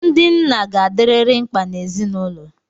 Ndị nna ga-adịrịrị mkpa n'ezinụlọ.